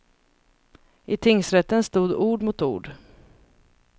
I tingsrätten stod ord mot ord.